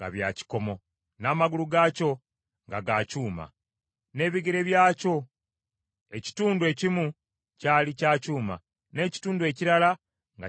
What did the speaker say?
n’amagulu gaakyo nga ga kyuma. N’ebigere byakyo ekitundu ekimu kyali kya kyuma, n’ekitundu ekirala nga kya bbumba.